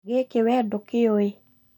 Gĩkĩ wee ndũkĩũĩ